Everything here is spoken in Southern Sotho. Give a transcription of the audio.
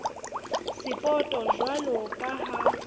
sapoto jwalo ka ha e